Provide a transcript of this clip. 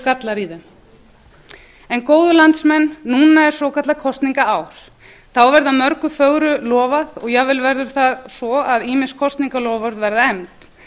gallar í þeim góðu landsmenn núna er svokallað kosningaár þá verður mörgu fögru lofað og jafnvel verður það svo að ýmiss kosningaloforð verða efnd